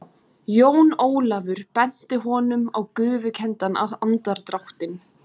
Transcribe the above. Jón Ólafur benti honum á gufukenndan andardráttinn.